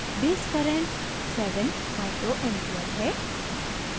base current 7ua micro ampere है